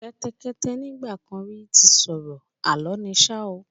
Kẹ́tẹ́kẹ́tẹ́ nígbà kan rí ti sọ̀rọ̀, Àlọ́ ni ṣá o.